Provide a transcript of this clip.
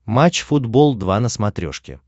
матч футбол два на смотрешке